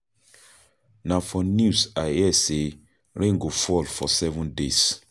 Na for news I hear sey rain go fall for seven days.